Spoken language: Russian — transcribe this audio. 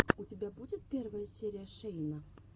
у тебя будет первая серия шейна